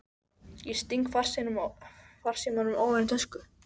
Ég sting farsímanum ofan í tösku.